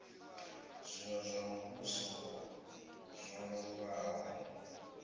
zwino zwa muvhuso zwo lumbaho